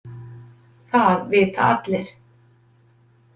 Það vita allir.